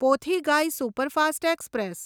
Pothigai superfast express